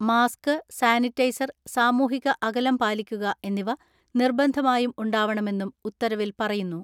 Mask, sanitizer, സാമൂഹിക അകലം പാലിക്കുക എന്നിവ നിർബന്ധമായും ഉണ്ടാവണമെന്നും ഉത്തരവിൽ പറയുന്നു.